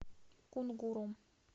кунгуром